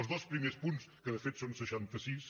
els dos primers punts que de fet són seixanta sis